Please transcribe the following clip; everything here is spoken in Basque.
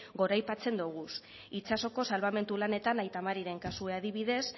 goraipatzen dogu itsasoko salbamendu lanetan aita mariren kasua adibidez